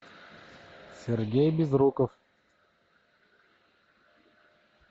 сергей безруков